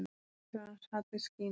Keisarans hallir skína.